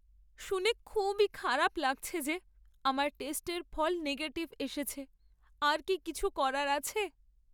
শুনে খুবই খারাপ লাগছে যে আমার টেস্টের ফল নেগেটিভ এসেছে। আর কি কিছু করার আছে?